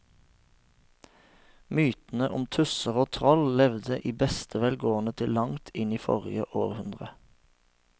Mytene om tusser og troll levde i beste velgående til langt inn i forrige århundre.